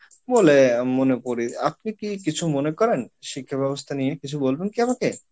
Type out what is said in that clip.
বলে মনে করি, আপনি কি কিছু মনে করেন শিক্ষা ব্যবস্থা নিয়ে, কিছু বলবেন কি আমাকে?